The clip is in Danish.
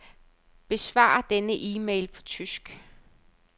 Besvar denne e-mail på tysk.